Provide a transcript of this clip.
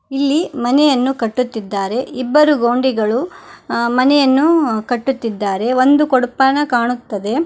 ಇಲ್ಲಿ ಮನೆಯನ್ನು ಕಟ್ಟುತ್ತಿದ್ದಾರೆ ಇಬ್ಬರು ಗೌಂಡಿಗಳು ಅ ಮನೆಯನ್ನು ಕಟ್ಟುತ್ತಿದ್ದಾರೆ ಒಂದು ಕೊಡುಪಾನ ಕಾಣುತ್ತದೆ.